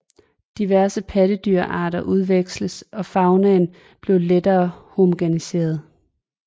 Diverse pattedyrarter udveksledes og faunaen blev lettere homogeniseret